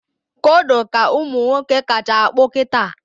Kodo ka ụmụnwoke kacha akpụ kịta